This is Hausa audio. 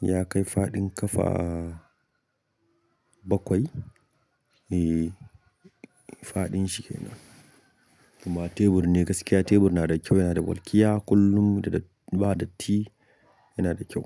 Ya kai faɗin ƙafa bakwai eh faɗin shi yana. Kuma tebur ne gaskiya tebur na da kyau, yana da walƙiya kullum ba datti yana da kyau.